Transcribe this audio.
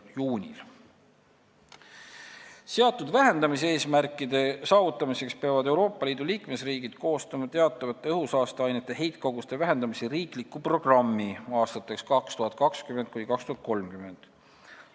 Seatud eesmärkide saavutamiseks peavad Euroopa Liidu liikmesriigid koostama teatavate õhusaasteainete heitkoguste vähendamise riikliku programmi aastateks 2020–2030.